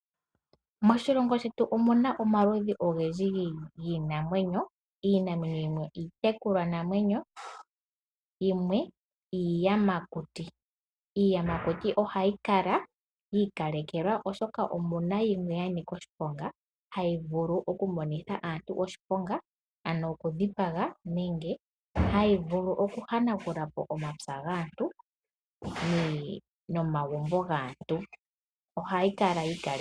Moshilongo shetu omuna omaludhi ogendji giinamwenyo. Iinamwenyo yimwe iitekulwa namwenyo yimwe iiyamakuti. Iiyamakuti ohayi kala yiikalekelwa oshoka omuna yimwe ya nika oshiponga hayi vulu oku monitha aantu oshiponga, ano oku dhipaga nenge hayi vulu oku hanagula po omapya gaantu no magumbo gaantu. Ohayi kala yi ikalela.